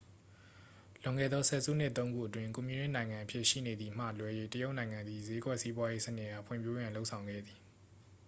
လွန်ခဲ့သော ဆယ်စုနှစ် သုံး ခုအတွင်း ကွန်မြူနစ်နိုင်ငံအဖြစ် ရှိနေသည်မှ လွဲ၍ တရုတ်နိုင်ငံသည် ဈေးကွက်စီးပွားရေးစနစ်အား ဖွံ့ဖြိုးရန် လုပ်ဆောင်ခဲ့သည်